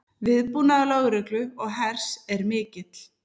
Viðbúnaður lögreglu og hers er mikill